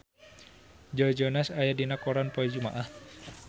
Joe Jonas aya dina koran poe Jumaah